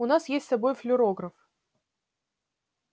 у нас есть с собой флюорограф